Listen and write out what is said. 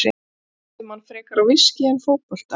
Nafnið minnti mann frekar á viskí en fótbolta.